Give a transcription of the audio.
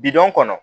Bidɔn kɔnɔ